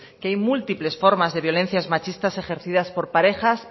que hay múltiples formas de violencias machistas ejercidas por parejas